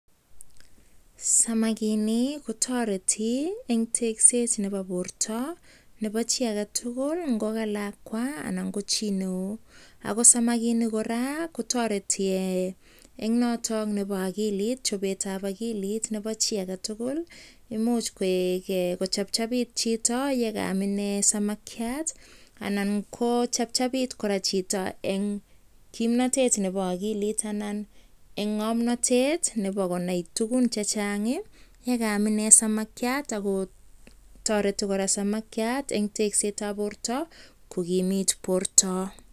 Samakinik kotoreti en tekset nebo borto nebo chi agetugul ngo kalakwa anan ko chi neo. Ago samakinik kora kotoreti en noto nebo agilit, chobetab ogilit nebo chi agetugul, imuch kochepchepit chito ye kaam inee samakyat anan ko chepchepit kora chito en kimnatet nebo ogilit anan en ng'omnatet nebo konai tugun chechang ye kaam inee samakyat ago toreti kora samakyat en teksetab borto kogimit borto.